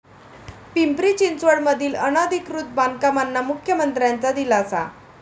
पिंपरी चिंचवडमधील अनधिकृत बांधकामांना मुख्यमंत्र्यांचा दिलासा